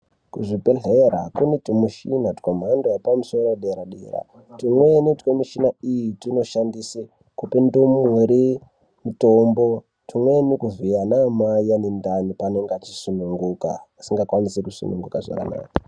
Kuzvibhedhlera kune tumuchina twemhando yepamusoro yepadera dera twumweni twmishina iyi tunoshandiswe kupa ndumure mutombo twumweni kuvhiya ana amai vane ndani pavanenge vachisununguka vasingakwanisi kusununguka zvakanaka.